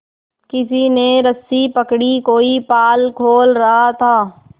किसी ने रस्सी पकड़ी कोई पाल खोल रहा था